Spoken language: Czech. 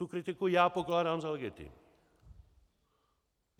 Tu kritiku já pokládám za legitimní.